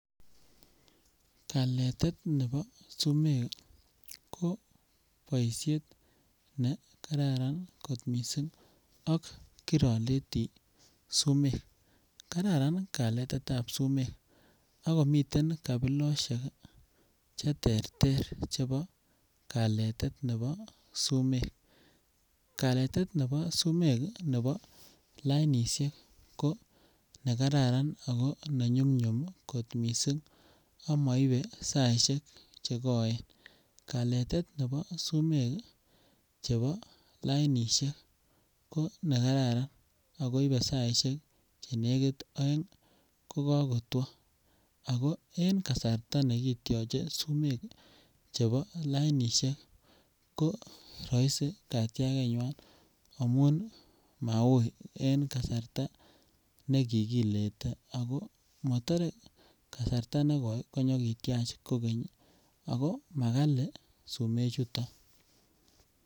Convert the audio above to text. Kaletet nebo sumek ko boishet ne kararan kot missing ak kiroletii sumek, kararan kaletet tab sumek ak komiten kapiloshek cheterter chebo kaletet nebo sumek. Kaletet nebo sumek nebo lainishek ko nekararan ako ne nyumnyum missing ak moibe saishek chekoen. Kaletet nebo sumek chebo lainishek ko nekararan ako ibe saishek Chenekit oeng ko kokotwo ako en kasarta nekityoche sumek chebo lainishek ko roisi katyakeywan ako Maui en kasarta nekikilete ako motore kasarta nekoe tanyo kityach kogeny ako makali sumek chuton.